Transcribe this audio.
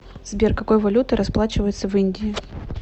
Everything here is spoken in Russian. сбер какой валютой расплачиваются в индии